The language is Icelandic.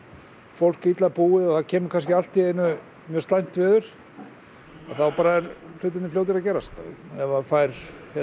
fólk illa búið og það kemur kannski allt í einu mjög slæmt veður að þá bara eru hlutirnir fljótir að gerast ef það fær